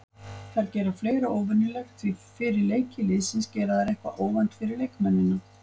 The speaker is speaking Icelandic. Þær gera fleira óvenjulegt því fyrir leiki liðsins gera þær eitthvað óvænt fyrir leikmennina.